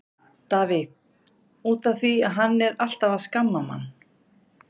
Davíð: Út af því að hann er alltaf að skamma mann.